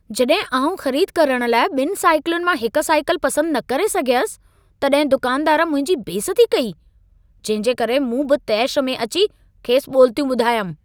जॾहिं आउं ख़रीद करण लाइ ॿिनि साइकिलुनि मां हिक साइकिल पसंदि न करे सघयसि, तॾहिं दुकानदार मुंहिंजी बेइज़ती कई। जंहिं जे करे मूं बि तेश में अची खेसि ॿोलितियूं ॿुधायमि।